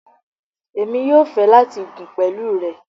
Emi yóò fẹ lati gùn pẹlu rẹ